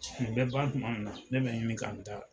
Ni bɛ ban tuma min na ne bɛ ɲini k'a n ta